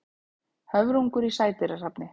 Höfrungur í sædýrasafni.